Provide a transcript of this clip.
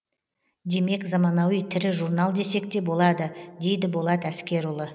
демек заманауи тірі журнал десек те болады дейді болат әскерұлы